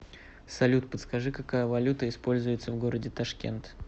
салют подскажи какая валюта используется в городе ташкент